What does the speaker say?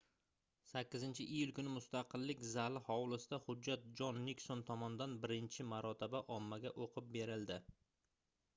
8-iyul kuni mustaqillik zali hovlisida hujjat jon nikson tomonidan birinchi marotaba ommaga oʻqib berildi